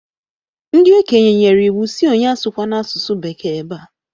Ndi okenye nyere iwu sị onye asụkwana asụsụ bekee ebea!